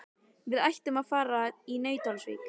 Við ætlum að fara í Nauthólsvík.